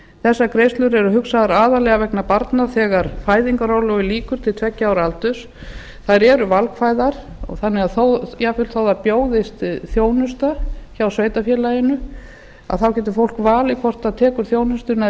þessar greiðslur eru hugsaðar aðallega vegna barna þegar fæðingarorlofi lýkur til tveggja ára aldurs þær eru valkvæðar þannig að jafnvel þó að það bjóðist þjónusta hjá sveitarfélaginu þá getur fólk valið hvort það tekur þjónustuna eða